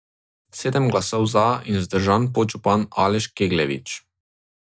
Sedem glasov za in vzdržan podžupan Aleš Kegljevič.